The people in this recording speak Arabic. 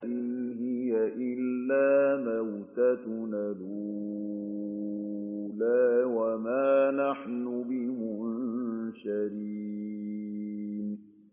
إِنْ هِيَ إِلَّا مَوْتَتُنَا الْأُولَىٰ وَمَا نَحْنُ بِمُنشَرِينَ